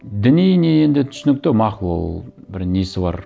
діни не енді түсінікті мақұл ол бір несі бар